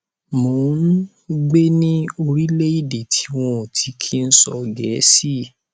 mò ń gbé ní orílẹèdè tí wọn ò ti kí ń sọ gẹẹsì